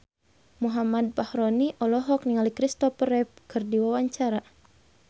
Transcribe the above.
Muhammad Fachroni olohok ningali Christopher Reeve keur diwawancara